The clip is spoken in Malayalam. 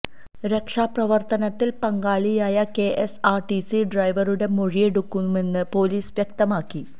രക്ഷാ പ്രവർത്തനത്തിൽ പങ്കാളിയായ K S R T C ഡ്രവറുടെ മൊഴിയെടുക്കുമെന്നും പൊലീസ് വ്യക്തമാക്കി